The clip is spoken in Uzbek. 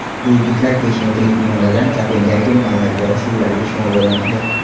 Bu yigitlar besh metrlik minoradan Kopengagen bandargohi suvlariga sho‘ng‘imoqda.